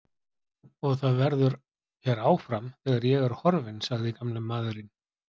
Og það verður hér áfram, þegar ég er horfinn sagði gamli maðurinn.